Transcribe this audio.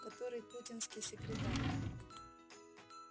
который путинский секретарь